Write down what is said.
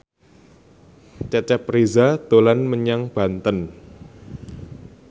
Cecep Reza dolan menyang Banten